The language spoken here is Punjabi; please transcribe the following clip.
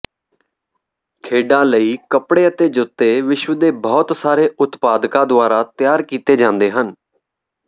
ਖੇਡਾਂ ਲਈ ਕੱਪੜੇ ਅਤੇ ਜੁੱਤੇ ਵਿਸ਼ਵ ਦੇ ਬਹੁਤ ਸਾਰੇ ਉਤਪਾਦਕਾਂ ਦੁਆਰਾ ਤਿਆਰ ਕੀਤੇ ਜਾਂਦੇ ਹਨ